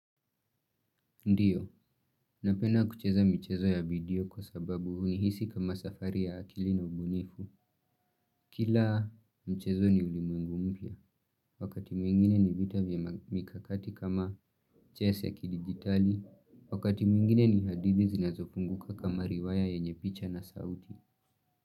Ndiyo, napenda kucheza michezo ya video kwa sababu hunihisi kama safari ya akili na ubunifu. Kila mchezo ni ulimuengu mpya, wakati mwingine ni vita vya mikakati kama chess ya kidigitali, wakati mwingine ni hadithi zinazofunguka kama riwaya yenye picha na sauti.